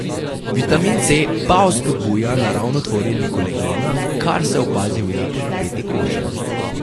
Vitamin C pa vzpodbuja naravno tvorjenje kolagena, kar se opazi v lepo napeti koži.